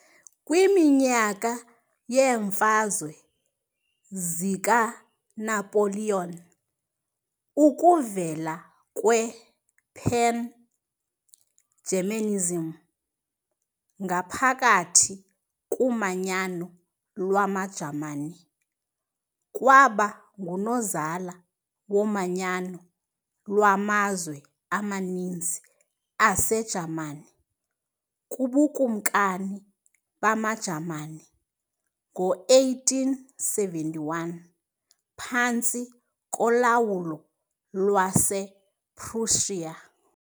kwiminyaka yeeMfazwe zikaNapoleon, ukuvela kwe-"Pan-Germanism" ngaphakathi kuManyano lwamaJamani kwaba ngunozala womanyano lwamazwe amaninzi aseJamani kubuKumkani bamaJamani ngo-1871, phantsi kolawulo lwase-Prussia.